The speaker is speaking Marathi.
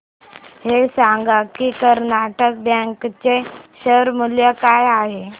हे सांगा की कर्नाटक बँक चे शेअर मूल्य काय आहे